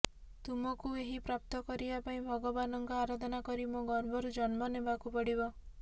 ତୁମକୁ ଏହି ପ୍ରାପ୍ତ କରିବା ପାଇଁ ଭଗବାନଙ୍କ ଆରାଧନା କରି ମୋ ଗର୍ଭରୁ ଜନ୍ମ ନେବାକୁ ପଡ଼ିବ